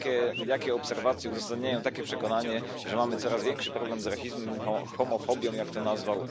Jakie obserwacje uzasadniają takie przekonanie, że mamy coraz większy problem z rasizmem, homofobią jak to nazwał.